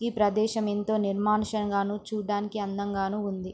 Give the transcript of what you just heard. ఈ ప్రదేశము ఎంతో నిర్మానుషంగాను చుడానికి అందంగాను ఉంది.